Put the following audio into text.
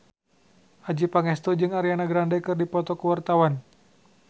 Adjie Pangestu jeung Ariana Grande keur dipoto ku wartawan